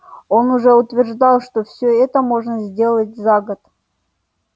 но он утверждал что все это можно сделать за год